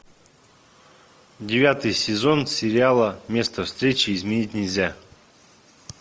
девятый сезон сериала место встречи изменить нельзя